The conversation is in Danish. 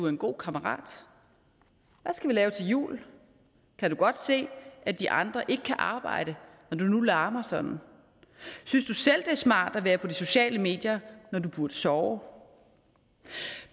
en god kammerat hvad skal vi lave til jul kan du godt se at de andre ikke kan arbejde når du nu larmer sådan synes du selv det er smart at være på de sociale medier når du burde sove